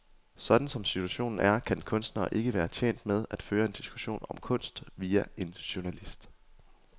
Sådan som situationen er, kan kunstnere ikke være tjent med at føre en diskussion om kunst via en journalist.